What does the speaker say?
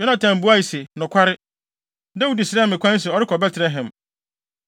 Yonatan buae se, “Nokware, Dawid srɛɛ me kwan sɛ ɔrekɔ Betlehem.